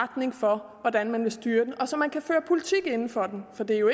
retning for hvordan man vil styre den og så man kan føre politik inden for den for det er jo